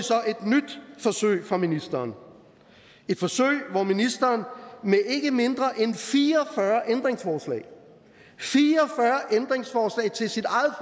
i forsøg fra ministeren et forsøg hvor ministeren med ikke mindre end fire og fyrre ændringsforslag fire